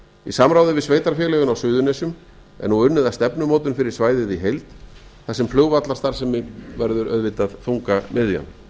í samráði við sveitarfélögin suðurnesjum er nú unnið að stefnumótun fyrir svæðið í heild þar sem flugvallarstarfsemin verður auðvitað þungamiðjan